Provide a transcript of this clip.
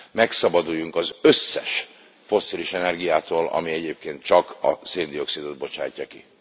megszabaduljunk az összes fosszilis energiától, ami egyébként csak a szén dioxidot bocsájtja ki?